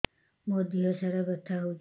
ମୋ ଦିହସାରା ବଥା ହଉଚି